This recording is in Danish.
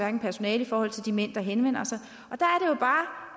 personale eller i forhold til de mænd der henvender sig